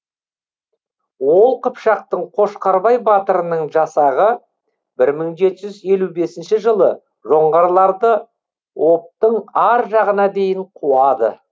ол қыпшақтың қошқарбай батырының жасағы бір мың жеті жүз елу бесінші жылы жоңғарларды обьтың ар жағына дейін қуады